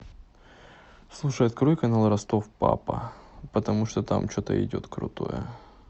слушай открой канал ростов папа потому что там что то идет крутое